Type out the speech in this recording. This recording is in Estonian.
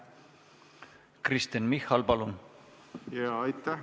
Kristen Michal, palun!